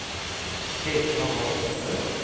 Petra Wahlström